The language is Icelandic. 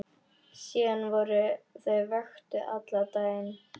Síðan voru þau vöktuð allan daginn.